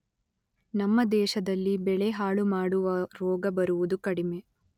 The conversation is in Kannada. ನಮ್ಮ ದೇಶದಲ್ಲಿ ಬೆಳೆ ಹಾಳುಮಾಡುವ ರೋಗ ಬರುವುದು ಕಡಿಮೆ.